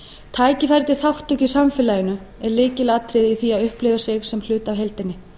tækifæri til þátttöku í samfélaginu er lykilatriði í því að upplifa sig sem hluta af heildinni